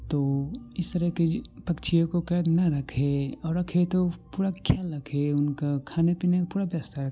तो इस तरह के पक्षियों को कैद ना रखे और रखे तो थोड़ा ख्याल रखे उनका खाने पीने का पूरा व्यवस्था --